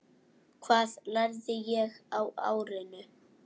Hvað lærði ég á árinu?